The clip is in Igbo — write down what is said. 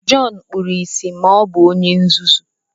Jọn kpuru ìsì ma o bu onye nzuzu